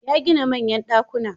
Ya gina manyan ɗakuna.